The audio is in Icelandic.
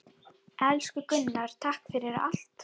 Elsku Gunnar, takk fyrir allt.